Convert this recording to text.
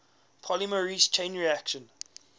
polymerase chain reaction